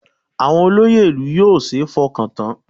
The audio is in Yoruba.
Àwọn olóyè ìlú yóò ṣeé fọkàn tán